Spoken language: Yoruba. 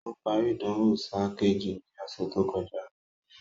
Ó parí ìdánwò sáà kejì ní ọ̀sẹ̀ tó kọjá